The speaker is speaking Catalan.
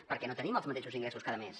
perquè no tenim els mateixos ingressos cada mes